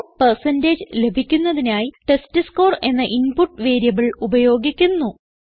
score percentage ലഭിക്കുന്നതിനായി test score എന്ന input variable ഉപയോഗിക്കുന്നു